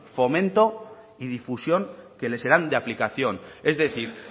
fomento y difusión que le serán de aplicación es decir